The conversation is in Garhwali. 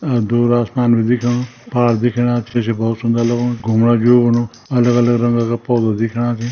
अ दूर आसमान भी दिखेणु पार्क दिखेणा छै छि भौत सुन्दर लगणु घुमणा ज्यू बुनू अलग-अलग रंगा का पौधा दिखेणा छि।